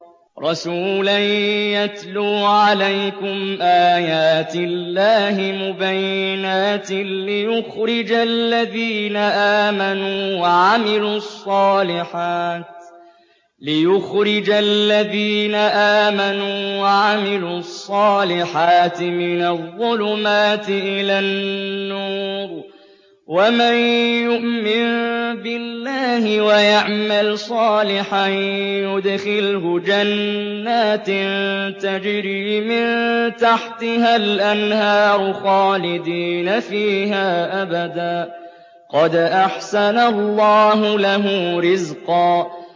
رَّسُولًا يَتْلُو عَلَيْكُمْ آيَاتِ اللَّهِ مُبَيِّنَاتٍ لِّيُخْرِجَ الَّذِينَ آمَنُوا وَعَمِلُوا الصَّالِحَاتِ مِنَ الظُّلُمَاتِ إِلَى النُّورِ ۚ وَمَن يُؤْمِن بِاللَّهِ وَيَعْمَلْ صَالِحًا يُدْخِلْهُ جَنَّاتٍ تَجْرِي مِن تَحْتِهَا الْأَنْهَارُ خَالِدِينَ فِيهَا أَبَدًا ۖ قَدْ أَحْسَنَ اللَّهُ لَهُ رِزْقًا